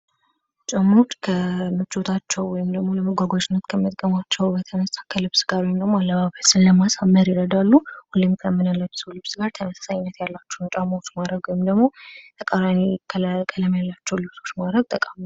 ጫማወች ከምቾታቸው ወም ለመጓጓዣነት ከመጥቀማቸው አለባበስን ለማሳመር ይረዳሉ። ከምንለብሰው ልብስ ጋር ተመሳሳይነት ያላቸውን ጫማዎች ማረግ ወይም ደግሞ ተቃራኒ ቀለም ያላቸውን ማረግ ጠቃሚ ነው።